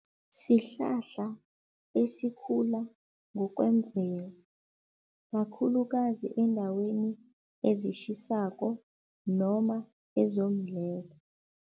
Sihlahla esikhula ngokwemvelo kakhulukazi eendaweni ezitjhisako noma